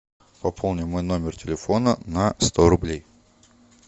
пополни мой номер телефона на сто рублей